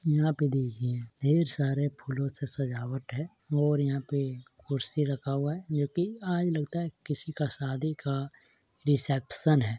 यहाँ पे देखिए ढेर सारे फूलों से सजावट है और यहाँ पे कुर्सी रखा हुआ है जो कि आज लगता है किसी का शादी का रिसेप्शन है।